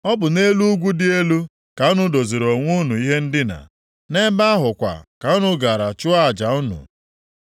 Ọ bụ nʼelu ugwu dị elu ka unu doziiri onwe unu ihe ndina, nʼebe ahụ kwa ka unu gara chụọ aja unu.